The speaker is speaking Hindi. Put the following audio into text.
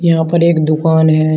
यहां पर एक दुकान है।